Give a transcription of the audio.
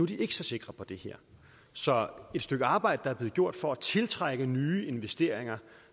de ikke så sikre på det her så et stykke arbejde der er blevet gjort for at tiltrække nye investeringer